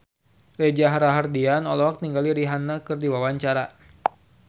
Reza Rahardian olohok ningali Rihanna keur diwawancara